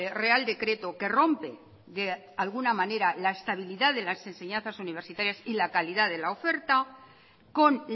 real decreto que rompe de alguna manera la estabilidad de las enseñanzas universitarias y la calidad de la oferta con